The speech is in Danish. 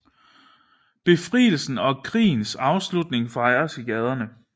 Befrielsen og krigens afslutning fejres i gaderne